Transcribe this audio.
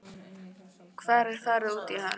Hvar er farið út í hann?